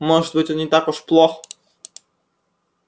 может быть он не так уж плох